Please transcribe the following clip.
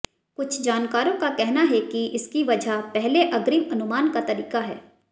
कुछ जानकारों का कहना है कि इसकी वजह पहले अग्रिम अनुमान का तरीका है